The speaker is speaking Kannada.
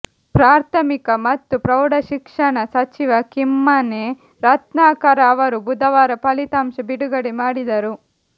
ಪ್ರಾಥಮಿಕ ಮತ್ತು ಪ್ರೌಢ ಶಿಕ್ಷಣ ಸಚಿವ ಕಿಮ್ಮನೆ ರತ್ನಾಕರ ಅವರು ಬುಧವಾರ ಫಲಿತಾಂಶ ಬಿಡುಗಡೆ ಮಾಡಿದರು